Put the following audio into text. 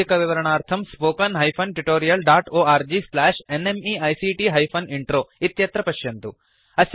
अधिकविवरणार्थं spoken hyphen tutorial dot org slash NMEICT hyphen intro इत्यत्र पश्यन्तु